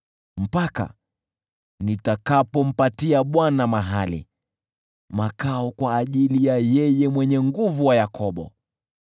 mpaka nitakapompatia Bwana mahali, makao kwa ajili ya Yule Mwenye Nguvu wa Yakobo.”